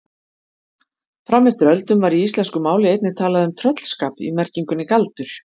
Fram eftir öldum var í íslensku máli einnig talað um tröllskap í merkingunni galdur.